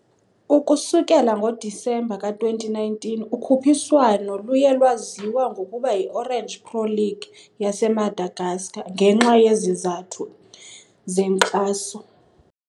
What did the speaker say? Ukusukela ngoDisemba ka-2019, ukhuphiswano luye lwaziwa ngokuba yiOrange Pro League yaseMadagascar ngenxa yezizathu zenkxaso.